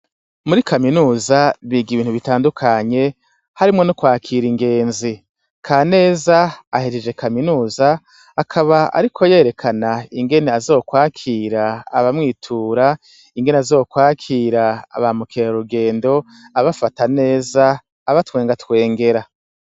Muri kaminuza biga ibintu bitandukanye harimwo no kwakira ingenzi ka neza ahejeje kaminuza akaba, ariko yerekana ingene azokwakira abamwitura ingene azokwakira aba mukera urugendo abafata neza aba twenga twengera.